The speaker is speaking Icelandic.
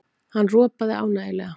Hann ropaði ánægjulega.